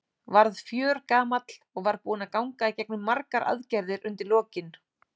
Varð fjörgamall og var búinn að ganga í gegnum margar aðgerðir undir lokin.